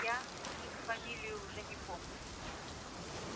я их фамилии уже не помню